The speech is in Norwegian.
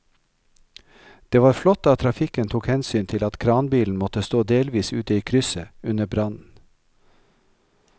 Det var flott at trafikken tok hensyn til at kranbilen måtte stå delvis ute i krysset under brannen.